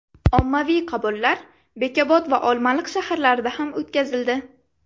Ommaviy qabullar Bekobod va Olmaliq shaharlarida ham o‘tkazildi.